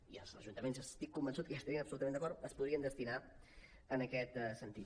i els ajuntaments n’estic convençut que hi estarien absolutament d’acord es podrien destinar en aquest sentit